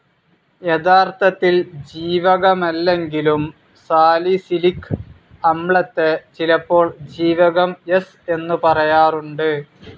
യഥാർത്ഥത്തിൽ ജീവകമല്ലെങ്കിലും സാലിസിലിക് അമ്ലത്തെ ചിലപ്പോൾ ജീവകം സ്‌ എന്നു പറയാറുണ്ട്